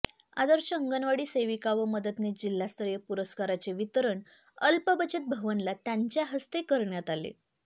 आदर्श अंगणवाडी सेविका व मदतनीस जिल्हास्तरीय पुरस्काराचे वितरण अल्पबचत भवनला त्यांच्या हस्ते करण्यात आले